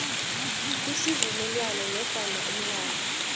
isivumelwano nofana umlayo